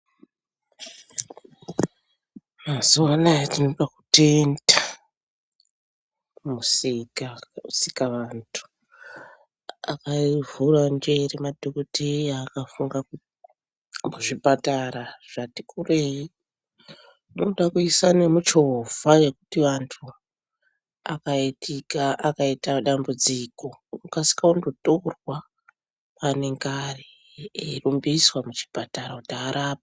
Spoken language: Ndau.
Mazuwanaya tinoda kutenda Musiki, Musikavantu akavhura njere, madhokoteya akafunga kuti kuzvipatara zvati kurei kunoda kuisa nemuchovha yekuti vantu akaitika akaita dambudziko, okasika kundotorwa kwaanenge ari eirumbiswa kuchipatara kuti arapwe.